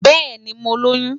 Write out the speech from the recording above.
Bẹẹni, Mo loyun